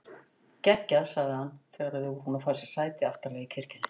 Geggjað sagði hann þegar þau voru búin að fá sér sæti aftarlega í kirkjunni.